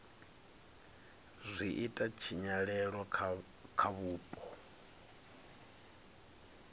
zwi ita tshinyalelo kha vhupo